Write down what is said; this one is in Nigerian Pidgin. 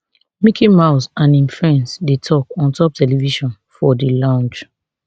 mickey mouse and im friends dey tok ontop television for di lounge